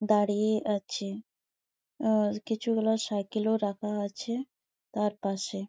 দাঁড়িয়ে আছে উমম কিছু গুলা সাইকেল -ও রাখা আছে তার পাশে।